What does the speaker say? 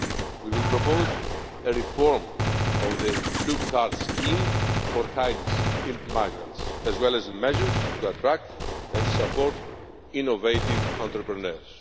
face. We will propose a reform of the blue card scheme for highly skilled migrants, as well as measures to attract and support innovative entrepreneurs.